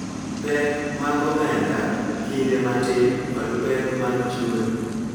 Pek mag omenda, kinde matin, kod pek mag chuny .